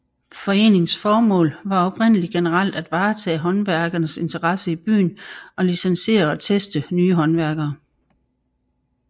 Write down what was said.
Foreningens formål var oprindeligt generelt at varetage håndværkernes interesser i byen og licensere og teste nye håndværkere